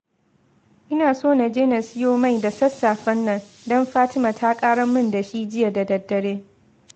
Ina so na je na siyo mai da sassafen nan, don Fatima ta ƙarar min da shi jiya da daddare